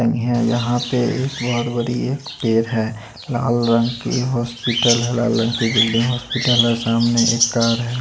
है यहाँ पे एक बहुत बड़ी एक पेड़ है लाल रंग की हॉस्पिटल है लाल रंग की बिल्डिंग हॉस्पिटल है सामने एक कार है।